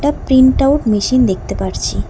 Print out machine দেখতে পারছি।